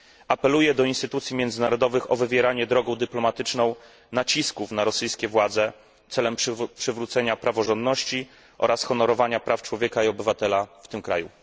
Apeluję do instytucji międzynarodowych o wywieranie drogą dyplomatyczną nacisków na rosyjskie władze celem przywrócenia praworządności oraz honorowania praw człowieka i obywatela w tym kraju.